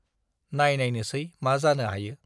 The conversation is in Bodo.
नाइनायनोसै मा जानो हायो!